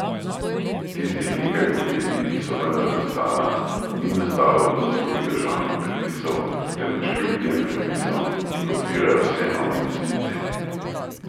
Tistih nekaj podjetij, ki so vendar nastala, ni nastalo po zaslugi državnih predpisov, temveč kljub tem predpisom, ki blokirajo vse nove investicije.